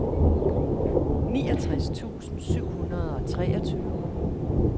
niogtres tusind syv hundrede og treogtyve